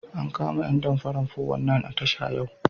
An kama ƴan damparan 419 a tasha yau.